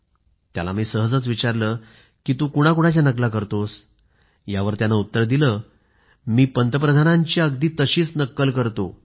त्याला मी सहजच विचारलं तू कुणाच्या नकला करतोसयावर त्यानं उत्तर दिलं मी पंतप्रधानांची अगदी तशीच नक्कल करतो